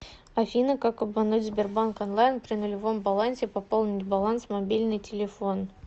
афина как обмануть сбербанк онлайн при нулевом балансе пополнить баланс мобильный телефон